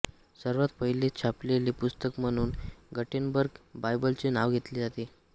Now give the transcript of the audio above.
सर्वात पहिले छापलेले पुस्तक म्हणून गटेनबर्ग बायबलचे नाव घेतले जाते